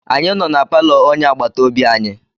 Anyị nọ na palọ onye agbataobi anyị.